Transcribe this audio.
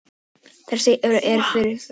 Þar segir: Eignarrétturinn er friðhelgur.